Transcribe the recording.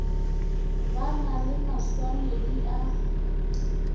ba na le maswanedi a